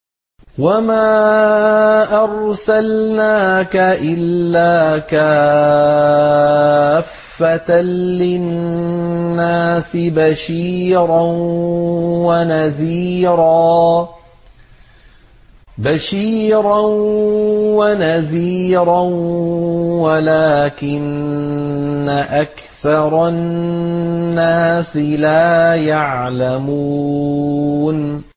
وَمَا أَرْسَلْنَاكَ إِلَّا كَافَّةً لِّلنَّاسِ بَشِيرًا وَنَذِيرًا وَلَٰكِنَّ أَكْثَرَ النَّاسِ لَا يَعْلَمُونَ